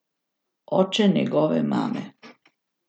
Oče njegove mame.